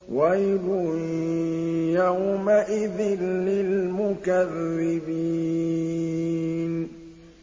وَيْلٌ يَوْمَئِذٍ لِّلْمُكَذِّبِينَ